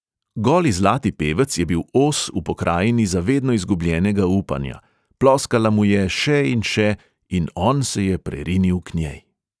Goli zlati pevec je bil os v pokrajini za vedno izgubljenega upanja, ploskala mu je, še in še, in on se je prerinil k njej.